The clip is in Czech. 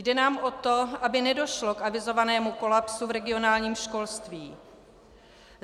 Jde nám o to, aby nedošlo k avizovanému kolapsu v regionálním školství.